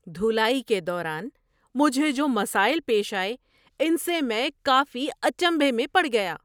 دھلائی کے دوران مجھے جو مسائل پیش آئے ان سے میں کافی اچنبھے میں پڑ گیا۔